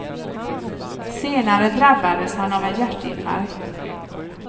Senare drabbades han av en hjärtinfarkt.